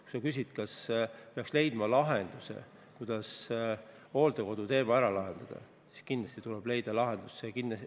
Kui sa küsid, kas peaks leidma lahenduse hooldekodu teemale, siis kindlasti tuleb lahendus leida.